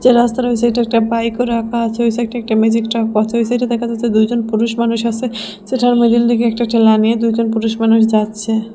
এ রাস্তা রইছে একটা বাইকও রাখা আছে ওই সাইডে একটা ম্যাজিক ট্রাক ওই সাইডে দেখা যাচ্ছে দুইজন পুরুষ মানুষ আসে যেটার লইগে একটা ঠ্যালা নিয়ে দুইজন পুরুষ মানুষ যাচ্ছে।